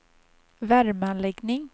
värmeanläggning